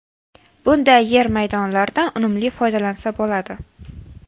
Bunday yer maydonlardan unumli foydalansa bo‘ladi.